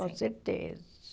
Com certeza.